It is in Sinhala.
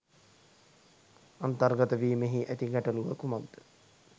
අන්තර්ගතවීමේහි ඇති ගැටළුව කුමක්ද